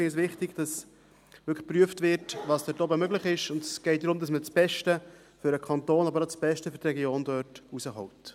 Wir finden es wichtig, dass wirklich geprüft wird, was dort oben möglich ist, und es geht darum, dass man dort das Beste für den Kanton Bern, aber auch das Beste für die Region herausholt.